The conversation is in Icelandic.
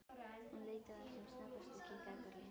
Hún leit á það sem snöggvast og kinkaði kolli.